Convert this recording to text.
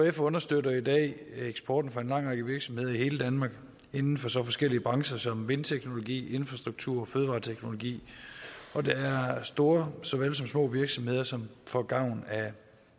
ekf understøtter i dag eksporten for en lang række virksomheder i hele danmark inden for så forskellige brancher som vindteknologi infrastruktur og fødevareteknologi og der er store såvel som små virksomheder som får gavn af